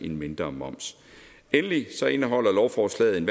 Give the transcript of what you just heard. en mindre moms endelig indeholder lovforslaget